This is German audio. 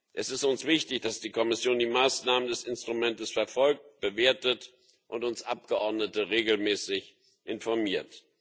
Es ist uns wichtig, dass die Kommission die Maßnahmen des Instruments verfolgt, bewertet und uns Abgeordnete regelmäßig informiert.